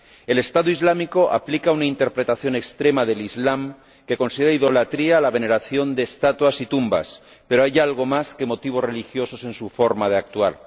El Estado Islámico aplica una interpretación extrema del Islam, que considera idolatría la veneración de estatuas y tumbas, pero hay algo más que motivos religiosos en su forma de actuar.